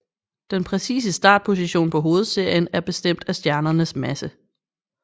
Den præcise startposition på hovedserien er bestemt af stjernens masse